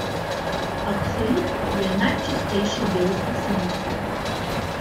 Absolut je najčistejši del esence.